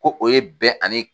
Ko o ye bɛn ani